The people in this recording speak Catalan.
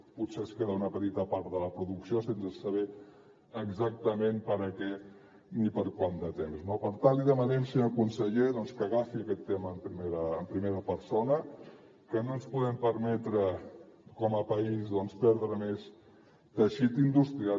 potser es queda una petita part de la producció sense saber exactament per a què ni per quant de temps no per tant li demanem senyor conseller que agafi aquest tema en primera persona perquè no ens podem permetre com a país perdre més teixit industrial